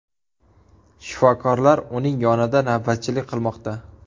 Shifokorlar uning yonida navbatchilik qilmoqda.